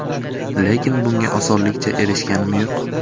Lekin bunga osonlikcha erishganim yo‘q.